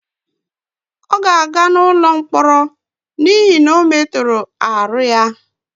ọ ga-aga n'ụlọ mkpọrọ n'ihi na ọ metoro aru ya